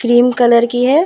Cream colour की है ।